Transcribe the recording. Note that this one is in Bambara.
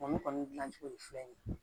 Olu kɔni gilan cogo ye fɛn ye